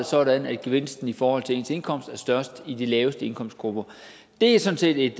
sådan at gevinsten i forhold til ens indkomst er størst i de laveste indkomstgrupper det er sådan set et